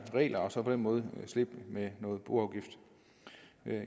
regler og så på den måde slippe med noget boafgift